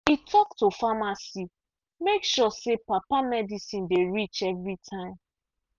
e talk to pharmacy make sure say papa medicine dey reach every time.